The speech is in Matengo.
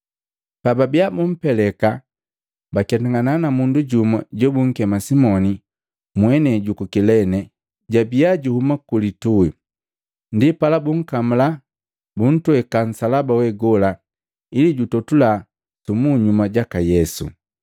Pababia bumpeleka, baketangana na mundu jumu jobunkema Simoni, mwenei juku Kilene, jojabia juhuma ku litui. Ndipala bunkamula, buntweka nsalaba we gola ili jutotula su munyuma jaka Yesu.